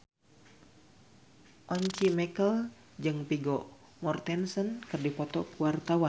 Once Mekel jeung Vigo Mortensen keur dipoto ku wartawan